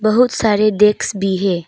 बहुत सारे डेस्क भी है।